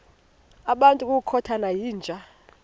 ngabantu ngokukhothana yinja